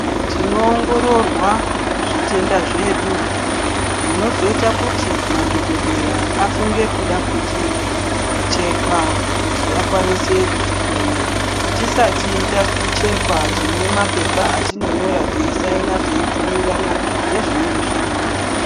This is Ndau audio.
Tinowongororwa zvitenda zvedu zvinozoita kuti madhokodheya afunge kuda kuticheka kuti akwanise kutihloya. Tisati tachekwa tinopuwa mapepa etinonyora teisaina teibvumirana nezvinenga zviripo.